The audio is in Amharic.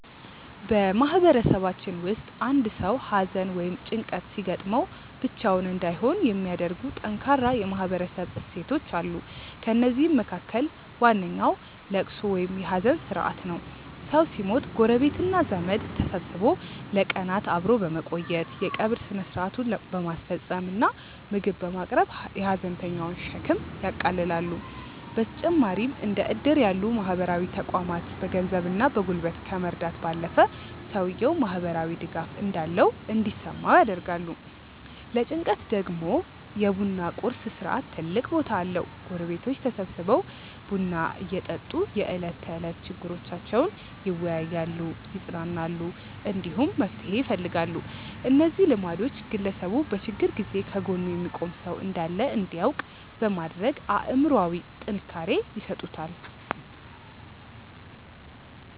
በማህበረሰባችን ውስጥ አንድ ሰው ሐዘን ወይም ጭንቀት ሲገጥመው ብቻውን እንዳይሆን የሚያደርጉ ጠንካራ የማህበረሰብ እሴቶች አሉ። ከእነዚህም መካከል ዋነኛው ልቅሶ ወይም የሐዘን ሥርዓት ነው። ሰው ሲሞት ጎረቤትና ዘመድ ተሰብስቦ ለቀናት አብሮ በመቆየት፣ የቀብር ሥነ ሥርዓቱን በማስፈጸም እና ምግብ በማቅረብ የሐዘንተኛውን ሸክም ያቃልላሉ። በተጨማሪም እንደ ዕድር ያሉ ማህበራዊ ተቋማት በገንዘብና በጉልበት ከመርዳት ባለፈ፣ ሰውየው ማህበራዊ ድጋፍ እንዳለው እንዲሰማው ያደርጋሉ። ለጭንቀት ደግሞ የ ቡና ቁርስ ሥርዓት ትልቅ ቦታ አለው፤ ጎረቤቶች ተሰብስበው ቡና እየጠጡ የዕለት ተዕለት ችግሮቻቸውን ይወያያሉ፣ ይጽናናሉ፣ እንዲሁም መፍትሄ ይፈልጋሉ። እነዚህ ልማዶች ግለሰቡ በችግር ጊዜ ከጎኑ የሚቆም ሰው እንዳለ እንዲያውቅ በማድረግ አእምሮአዊ ጥንካሬ ይሰጡታል።